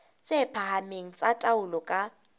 tse phahameng tsa taolo ka